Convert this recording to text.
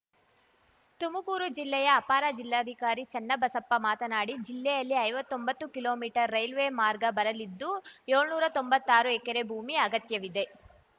ತುಮಕೂರು ಜಿಲ್ಲೆಯ ಅಪರ ಜಿಲ್ಲಾಧಿಕಾರಿ ಚನ್ನಬಸಪ್ಪ ಮಾತನಾಡಿ ಜಿಲ್ಲೆಯಲ್ಲಿ ಐವತ್ತೊಂಬತ್ತು ಕಿಲೋ ಮೀಟರ್ ರೈಲ್ವೆ ಮಾರ್ಗ ಬರಲಿದ್ದು ಏಳ್ನೂರಾ ತೊಂಬತ್ತಾರು ಎಕರೆ ಭೂಮಿ ಅಗತ್ಯವಿದೆ